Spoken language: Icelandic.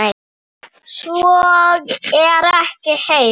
Svo er ekki hér.